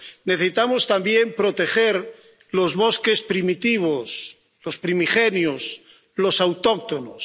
Necesitamos también proteger los bosques primitivos, los primigenios, los autóctonos.